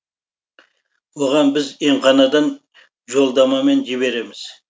оған біз емханадан жолдамамен жібереміз